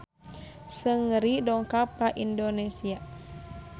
Seungri dongkap ka Indonesia